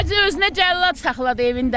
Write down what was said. O bacı özünə cəllad saxladı evində.